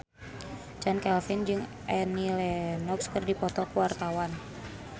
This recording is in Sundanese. Chand Kelvin jeung Annie Lenox keur dipoto ku wartawan